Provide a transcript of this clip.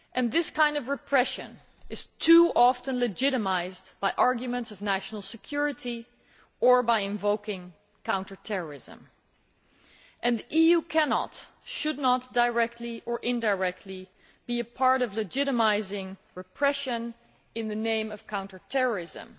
This kind of repression is too often legitimised by arguments of national security or by invoking counter terrorism and the EU cannot and should not, directly or indirectly, be a part of legitimising repression in the name of counter terrorism